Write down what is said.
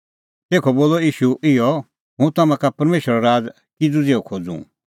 तेखअ बोलअ ईशू इहअ हुंह तम्हां का परमेशरो राज़ किज़ू ज़िहअ खोज़ूं